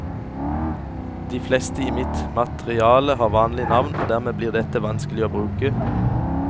De fleste i mitt materiale har vanlige navn, og dermed blir dette vanskelig å bruke.